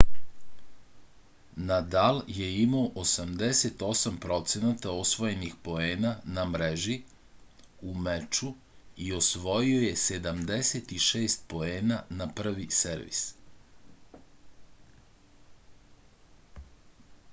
nadal je imao 88% osvojenih poena na mreži u meču i osvojio je 76 poena na prvi servis